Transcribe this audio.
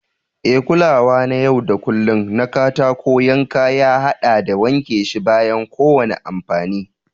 E, Kulawa na yau da kullun na katako yankan ya haɗa da wanke shi bayan kowane amfani.